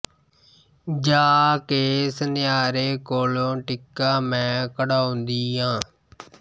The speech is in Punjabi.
ਜਾ ਕੇ ਸੁਨਿਆਰੇ ਕੋਲੋ ਟਿੱਕਾ ਮੈ ਘੜਾਓਦੀ ਆਂ